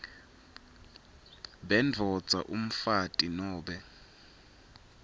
bendvodza umfati nobe